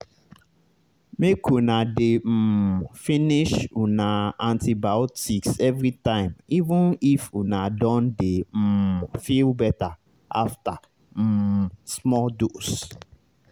make una dey um finish una antibiotics everytime even if una don dey um feel better after um small dose